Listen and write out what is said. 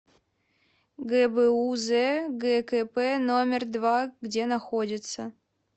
гбуз гкп номер два где находится